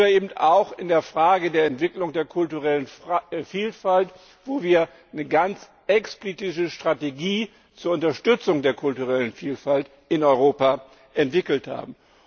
Oder eben auch die Frage der Entwicklung der kulturellen Vielfalt, wo wir eine ganz explizite Strategie zur Unterstützung der kulturellen Vielfalt in Europa entwickelt haben.